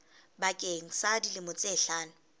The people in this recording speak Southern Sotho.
bakeng sa dilemo tse hlano